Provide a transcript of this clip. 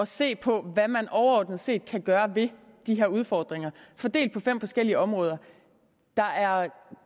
se på hvad man overordnet set kan gøre ved de her udfordringer fordelt på fem forskellige områder der er